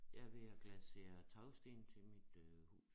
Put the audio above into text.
Jeg er ved at glasere tagsten til mit øh hus